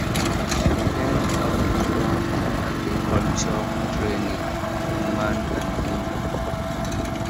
she learn how to run agriculture training for man and woman